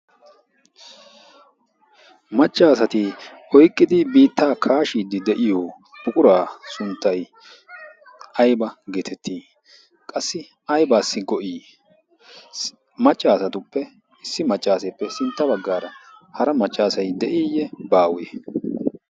macca asati oyikkidi biittaa kaashiiddi de'iyo buquraa sunttay ayiba geetetti? qassi ayibaassi go'i? macca asatuppe issi maccaaseeppe sintta baggaara hara maccaasay de'iiyye baawe?